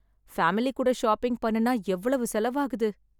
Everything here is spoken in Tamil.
பேமிலி கூட ஷாப்பிங் பண்ணுனா எவ்வளவு செலவாகுது?